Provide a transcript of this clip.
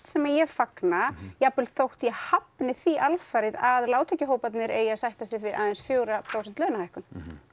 sem ég fagna þó ég hafni því alfarið að lágtekjuhóparnir eigi að sætta sig við aðeins fjögurra prósenta launahækkun